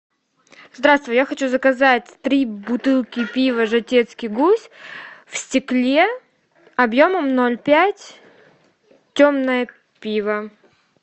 здравствуй я хочу заказать три бутылки пива жатецкий гусь в стекле объемом ноль пять темное пиво